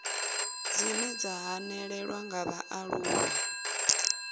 dzine dza hanelelwa nga vhaaluwa